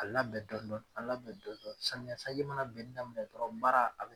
A la bɛn dɔn dɔni a bɛn dɔn dɔni samiya sanji mana benin daminɛ dɔrɔn baara a be